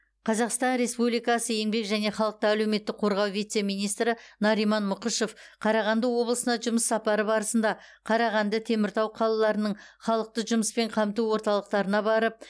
қазақстан республикасы еңбек және халықты әлеуметтік қорғау вице министрі нариман мұқышев қарағанды облысына жұмыс сапары барысында қарағанды теміртау қалаларының халықты жұмыспен қамту орталықтарына барып